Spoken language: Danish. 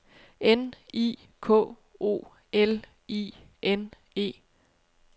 N I K O L I N E